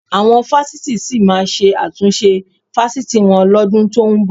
Àwọn fásitì sì máa ṣe àtúnṣe fásitì wọn lọ́dún tó ń bọ̀